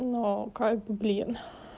ну как бы блин